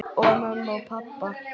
Og mömmu og pabba.